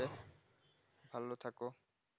ভালো থাকো